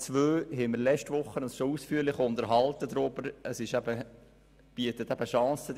Was die Planungserklärung 2 betrifft, haben wir uns schon letzte Woche ausführlich darüber unterhalten.